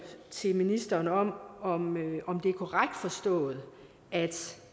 til ministeren om om det er korrekt forstået at